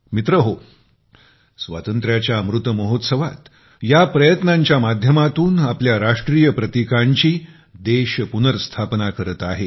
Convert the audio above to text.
मित्रहो स्वातंत्र्याच्या अमृत महोत्सवात या प्रयत्नांच्या माध्यमातून आपल्या राष्ट्रीय प्रतीकांची देश पुनर्स्थापना करत आहे